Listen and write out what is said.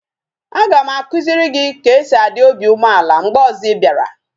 Aga m akuziri gi ka e si a dị obi umeala mgbe ozo ị bịara